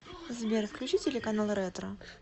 сбер включи телеканал ретро